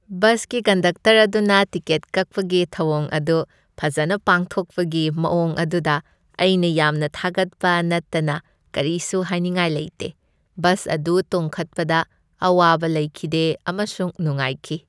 ꯕꯁꯀꯤ ꯀꯟꯗꯛꯇꯔ ꯑꯗꯨꯅ ꯇꯤꯀꯦꯠ ꯀꯛꯄꯒꯤ ꯊꯧꯋꯣꯡ ꯑꯗꯨ ꯐꯖꯅ ꯄꯥꯡꯊꯣꯛꯄꯒꯤ ꯃꯋꯣꯡ ꯑꯗꯨꯗ ꯑꯩꯅ ꯌꯥꯝꯅ ꯊꯥꯒꯠꯄ ꯅꯠꯇꯅ ꯀꯔꯤꯁꯨ ꯍꯥꯏꯅꯤꯡꯉꯥꯏ ꯂꯩꯇꯦ ꯫ ꯕꯁ ꯑꯗꯨ ꯇꯣꯡꯈꯠꯄꯗ ꯑꯋꯥꯕ ꯂꯩꯈꯤꯗꯦ ꯑꯃꯁꯨꯡ ꯅꯨꯡꯉꯥꯏꯈꯤ ꯫